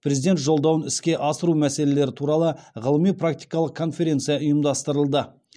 президент жолдауын іске асыру мәселелері туралы ғылыми практикалық конференция ұйымдастырылды